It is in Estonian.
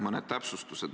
Mõned täpsustused.